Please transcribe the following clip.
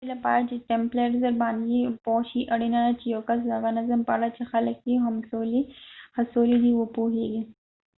ددې لپاره چې ټمپلرز باندې پوه شي اړینه ده چې یو کس د هغه نظم په اړه چې خلک یې هڅولی دي وپوهېږي